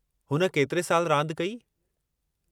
हुन केतिरे साल रांदि कई?